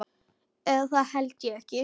Eða það held ég ekki.